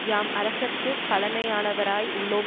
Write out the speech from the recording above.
யாம் அரசர்க்கு பழைமையானவராய் உள்ளோம்